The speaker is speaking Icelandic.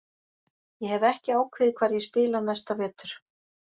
Ég hef ekki ákveðið hvar ég spila næsta vetur.